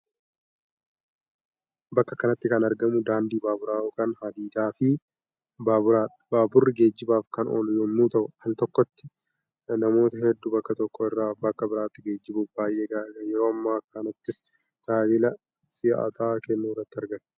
Bakka kanatti kan argamu daandii baaburaa(hadiidaa) fi Baaburadha. Baaburri geejjibaaf kan ooluu yommuu ta'u Al tokkotti namoota hedduu bakka tokko irraa bakka biraatti geejjibuuf baay'ee gaariidha. Yeroo ammaa kanattis tajaajila si'ataa kennuu irratti argama.